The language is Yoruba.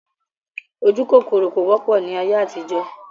Ojúkòkòrò kò wọ́pọ̀ ni ayé àtijọ́